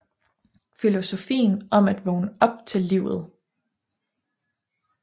Filosofien om at vågne op til livet